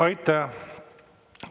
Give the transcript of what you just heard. Aitäh!